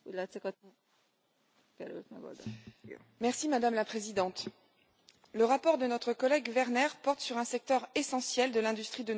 Madame la Présidente, le rapport de notre collègue Werner porte sur un secteur essentiel de l'industrie de nos pays, de la France et de l'Europe, à savoir le ferroviaire.